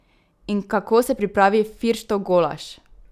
In kako se pripravi Firštov golaž?